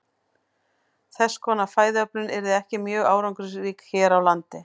Þess konar fæðuöflun yrði ekki mjög árangursrík hér á landi.